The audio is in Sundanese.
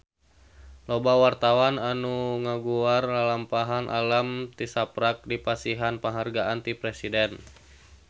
Loba wartawan anu ngaguar lalampahan Alam tisaprak dipasihan panghargaan ti Presiden